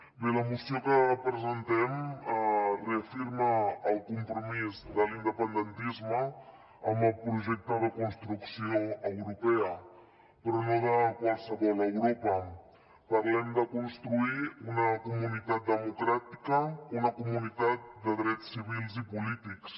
bé la moció que presentem reafirma el compromís de l’independentisme amb el projecte de construcció europea però no de qualsevol europa parlem de construir una comunitat democràtica una comunitat de drets civils i polítics